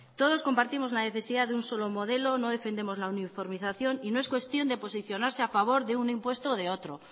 todos compartimos la necesidad de un solo modelo no defendemos la uniformización y no es cuestión de posicionarse a favor de un impuesto o de otro